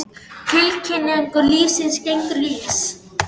Tilgangur lífsins er gangur lífsins.